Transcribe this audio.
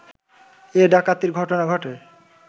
এ ডাকাতির ঘটনা ঘটে